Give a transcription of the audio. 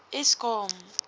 eskom